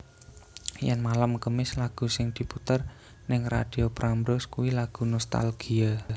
Yen malem kemis lagu sing diputer ning Radio Prambors kui lagu nostalgia